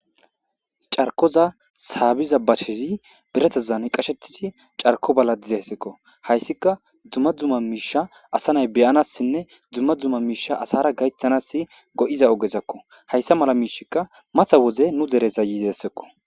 Darkoza saabiza bacshezi beretazan qashettisi carko balla dizessekko hayssika dzumma dzuma miisha asa nay beyanassinne dzumma dzumma miisha asara gaythanas go7iza ogezakko hayssa mala miishikka matha woze nu dereza yizessekko.